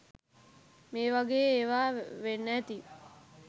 මේ වගේ ඒවා වෙන්න ඇති